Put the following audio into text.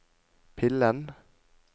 pillen